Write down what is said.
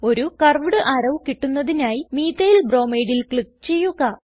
ഒരു curved arrow കിട്ടുന്നതിനായി Methylbromideൽ ക്ലിക്ക് ചെയ്യുക